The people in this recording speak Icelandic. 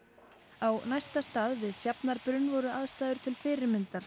á næsta stað við Sjafnarbrunn voru aðstæður til fyrirmyndar